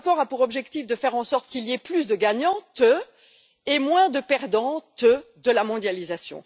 Ce rapport a pour objectif de faire en sorte qu'il y ait plus de gagnantes et moins de perdantes de la mondialisation.